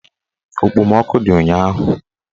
Okpomọkụ dị ụnyaahụ